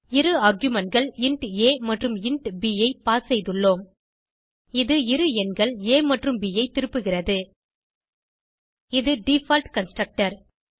இருargumentகள் int a மற்றும் int b ஐ pass செய்துள்ளோம் இது இரு எண்கள் ஆ மற்றும் ப் ஐ திருப்புகிறது இது டிஃபாலட் கன்ஸ்ட்ரக்டர்